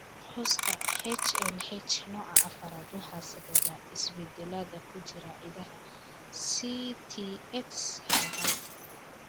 Qoyska HLH, nooca afaraad waxaa sababa isbeddellada ku jira hiddaha STX hal hal.